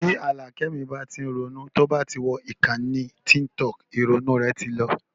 Tí Àlàkẹ́ mi bá tí ń ronú, tí ó bá ti wọ ìkànnì tíkítọọ̀kì, ìrònú rẹ̀ ti lọ